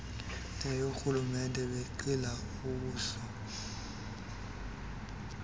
neyoorhulumente benqila uwiso